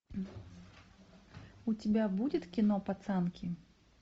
у тебя будет кино пацанки